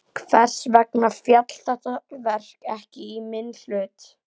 Hvers vegna féll þetta verk ekki í minn hlut?